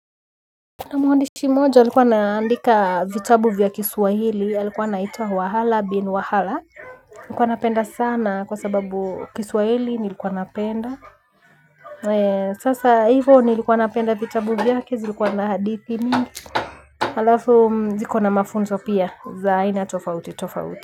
Kuna mwandishi mmoja alikuwa anaandika vitabu vya kiswahili, alikuwa na itwa wa halabin wa hala. Nilikuwa napenda sana kwa sababu kiswahili nilikuwa napenda. Sasa hivyo nilikuwa napenda vitabu vyake, zilikuwa na hadithi mingi. Halafu, ziko na mafunzo pia, za aina tofauti tofauti.